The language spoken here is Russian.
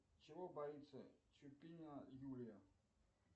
чего боится чупина юлия